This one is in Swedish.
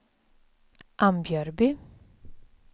Ambjörby